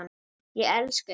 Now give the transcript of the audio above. Ég elska ykkur.